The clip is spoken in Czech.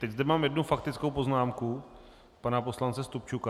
Teď zde mám jednu faktickou poznámku pana poslance Stupčuka.